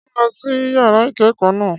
Ṣé ò ń lọ sí yàrá ìkẹ́kọ̀ọ́ náà?